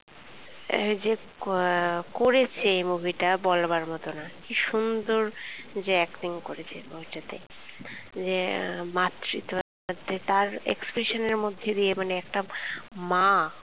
এই যে কোঁ করেছে movie টা বলবার মতো নয় । কি সুন্দর যে acting করেছে এই movie টা তে যে মাতৃত্ব তার expression এর মধ্যে দিয়ে মানে একটা মা